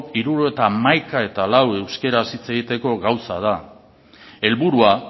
hirurogeita hamaika koma lau euskaraz hitz egiteko gauza da helburua